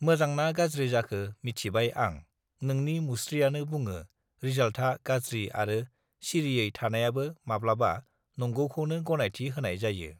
मोजांना गाज्रि जाखो मिथिबाय आं नोंनि मुस्त्रियानो बुङो रिजाल्थआ गाज्रि आरो सिरियै थनायाबो माब्लाबा नंगौखौनो गनायथि होनाय जायो